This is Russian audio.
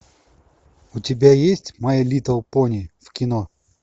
у тебя есть май литл пони в кино